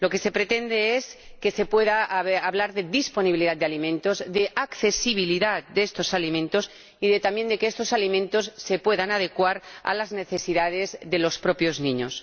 Lo que se pretende es que se pueda hablar de disponibilidad de alimentos, de accesibilidad de estos alimentos y también de que estos alimentos se puedan adecuar a las necesidades de los propios niños.